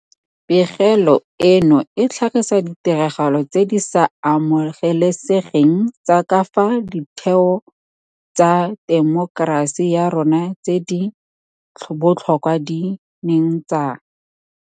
Pegelo eno e tlhagisa ditiragalo tse di sa amogelesegeng tsa ka fao ditheo tsa temokerasi ya rona tse di botlhokwa di neng tsa.